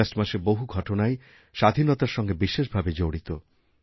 August মাসের বহু ঘটনাই স্বাধীনতার সঙ্গে বিশেষভাবে জড়িত